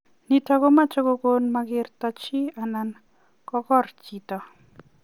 Nitok komuch kogon makertoo chii anan kokor chitoo.